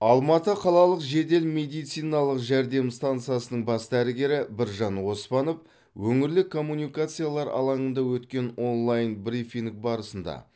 алматы қалалық жедел медициналық жәрдем стансасының бас дәрігері біржан оспанов өңірлік коммуникациялар алаңында өткен онлайн брифинг барысында